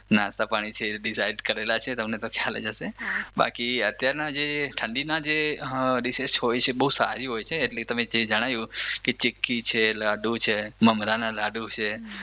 નાસ્તા પાણી છે એ ડિસાઈડ કરે છે તમને તો ખ્યાલ જ હશે બાકી અત્યારના જે ઠંડીના જે ડીશીસ હોય છે બઉ સારી હોય છે તમે જે જણાયું કે ચીક્કી છે લાડુ છે મમરાના લાડુ છે